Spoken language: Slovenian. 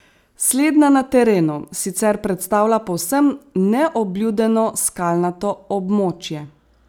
Slednja na terenu sicer predstavlja povsem neobljudeno skalnato območje.